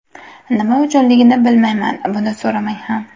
Nima uchunligini bilmayman, buni so‘ramang ham.